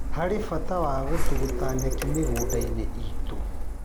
Harĩ bata gũtũgũta nyeki mĩgũnda-inĩ itu